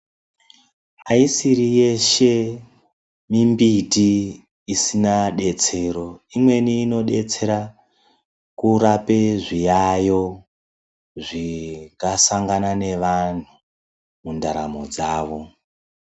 Aisiri yeshe mimbiti isina detsero. Imweni inodetsera kurape zviyayo zvinga sangana nevanthu mundaramo dzavo.